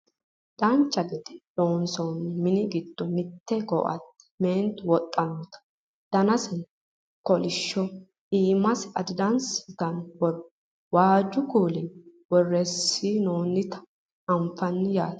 Dancha gede loonsoonni mini giddo mitte ko"atte meentu wodhannota danase kolishsho iimase adidaasi yitanno borro waajju kuulinni borreessinoonnita anfannite yaate